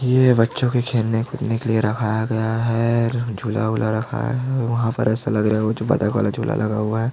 ये बच्चो के खेलने कूदने के लिए रखाया गया है झूला वूला रखाया है और वहाँ पर ऐसा लग रहा है ओ जो बतख वाला झूला लगा हुआ है।